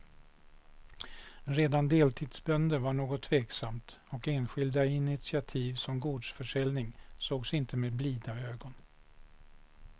Redan deltidsbönder var något tveksamt och enskilda initiativ som gårdsförsäljning sågs inte med blida ögon.